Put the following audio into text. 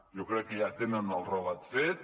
jo crec que ja tenen el relat fet